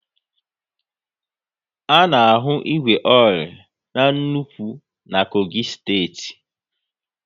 A na ahu igwe ore n'nnukwu na Kogi steeti